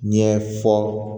Ɲɛ fɔ